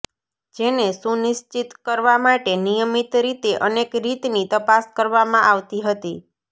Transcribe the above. જેને સુનિશ્ચિત કરવા માટે નિયમિત રીતે અનેક રીતની તપાસ કરવામાં આવતી હતી